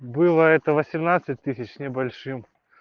было это восемьнадцать тысяч с небольшим